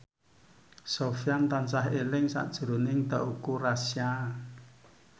Sofyan tansah eling sakjroning Teuku Rassya